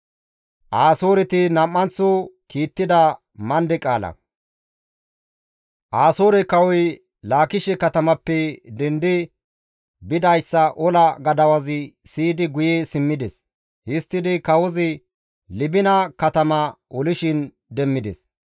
Asoore kawoy Laakishe katamappe dendi bidayssa ola gadawazi siyidi guye simmides. Histtidi kawozi Libina katama olishin demmides.